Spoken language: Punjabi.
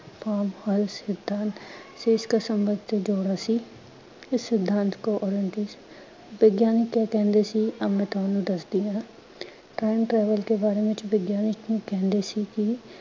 ਸਿਧਾਂਤ ਦੇਸ਼ ਕਾ ਸੰਭਵ ਸੀ। ਇਸ ਸਿਧਾਂਤ ਵਿਗਿਆਨਿਕ ਕਿਆ ਕਹਿੰਦੇ ਸੀ ਆਓ ਮੈਂ ਤੁਹਾਨੂੰ ਦਸਦੀ ਹਾਂ। TIME TRAVEL ਕੇ ਬਾਰੇ ਵਿੱਚ ਵਿਗਿਆਨਿਕ ਕਹਿੰਦੇ ਸੀ ਕਿ